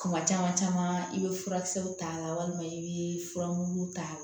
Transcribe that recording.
Kuma caman caman i bɛ furakisɛw t'a la walima i bɛ furamugu t'a la